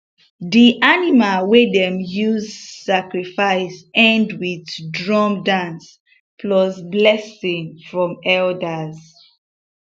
di animal wey dem use sacrifice end with drum dance plus blessing from elders